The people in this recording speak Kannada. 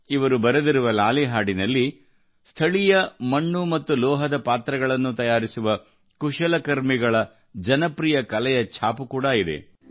ಇವರು ಬರೆದಿರುವ ಲಾಲಿ ಹಾಡಿನಲ್ಲಿ ಸ್ಥಳೀಯ ಮಣ್ಣು ಮತ್ತು ಲೋಹದ ಪಾತ್ರೆಗಳನ್ನು ತಯಾರಿಸುವ ಕುಶಲ ಕರ್ಮಿಗಳ ಜನಪ್ರಿಯ ಕಲೆಯ ಛಾಪು ಕೂಡಾ ಇದೆ